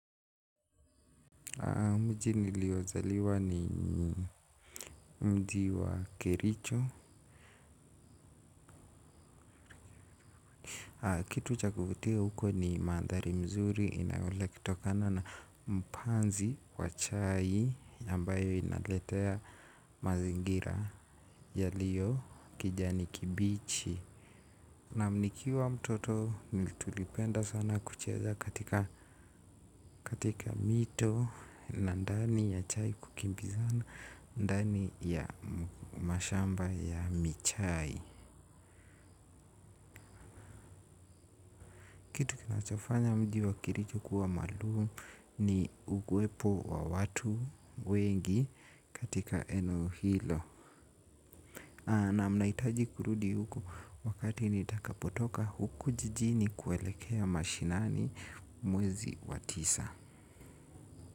Mji niliozaliwa ni mji wa kericho. Kitu cha kuvutia huko ni manthari mzuri inayole kutokana na mpanzi wa chai ambayo inaletea mazingira yaliyo kijani kibichi. Naam nikiwa mtoto nili tulipenda sana kucheza katika mito. Na ndani ya chai kukimbizana ndani ya mashamba ya michai kinachofanya mji wa kericho kuwa maalum ni ukuwepo wa watu wengi katika eneo hilo. Naam nahitaji kurudi huko wakati nitakapotoka huku jijini kuelekea mashinani mwezi wa tisa.